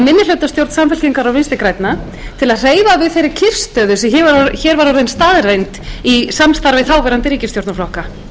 minnihlutastjórn samfylkingar og vinstri grænna til að hreyfa við þeirri kyrrstöðu sem hér var orðin staðreynd í samstarfi þáverandi ríkisstjórnarflokka